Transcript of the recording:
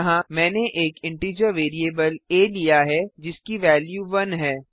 यहाँ मैंने एक इंटीजर वैरिएबल आ लिया है जिसकी वेल्यू 1 है